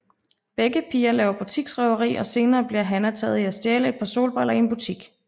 Begge piger laver butiksrøveri og senere bliver Hanna taget i at stjæle et par solbriller i en butik